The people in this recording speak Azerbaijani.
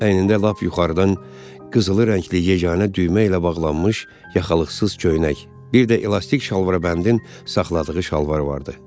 Əynində lap yuxarıdan qızılı rəngli yeganə düymə ilə bağlanmış yaxalıqsız köynək, bir də elastik şalvarabəndin saxladığı şalvar vardı.